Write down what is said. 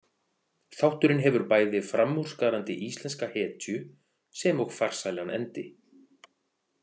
Þátturinn hefur bæði framúrskarandi íslenska hetju sem og farsælan endi.